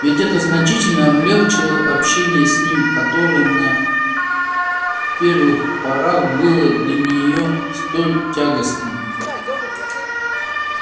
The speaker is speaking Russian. ведь это значительно облегчало общение с ним которое на первых порах было для нее столь тягостным